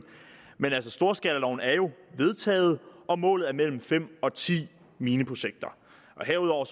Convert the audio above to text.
men storskalaloven er jo vedtaget og målet er mellem fem og ti mineprojekter herudover